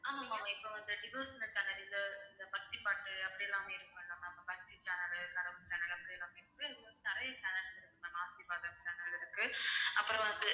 இந்த பக்திப்பாட்டு அப்படியெல்லாம் இருக்கும்ல ma'am பக்தி channel channel அப்படியெல்லாம் வந்து நிறைய channels இருக்கு ma'am channel இருக்கு அப்புறம் வந்து